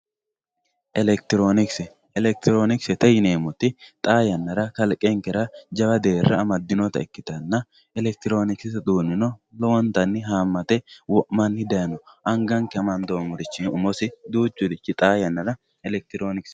elektiroonikise elektiroonikisete yineemoti xaa yannara kalqenkere jawa deerra ammadinota ikkitanna elektiroonikisete uduunino lowontanni haamate wo'manni dayiino anganke amandoomorichi duuchurichi xaa yannara elektiroonikisete.